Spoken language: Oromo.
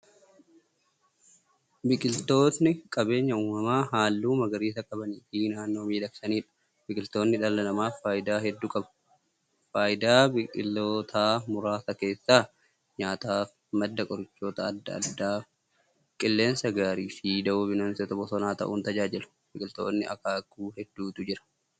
Biqiltootni qabeenya uumamaa haalluu magariisa qabaniifi naannoo miidhagsaniidha. Biqiltootni dhala namaaf faayidaa hedduu qabu. Faayidaa biqiltootaa muraasa keessaa; nyaataaf, madda qorichoota adda addaa, qilleensa gaariifi dawoo bineensota bosonaa ta'uun tajaajilu. Biqiltootni akaakuu hedduutu jiru.